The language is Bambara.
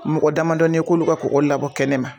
Mɔgɔ damadɔnin ye k'olu ka kɔgɔ labɔ kɛnɛma.